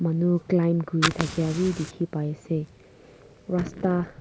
manu climb kuri thakiawi dikhi pai asey rasta--